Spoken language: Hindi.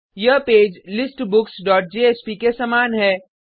यह पेज लिस्टबुक्स डॉट जेएसपी के समान है